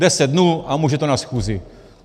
Deset dnů a může to na schůzi.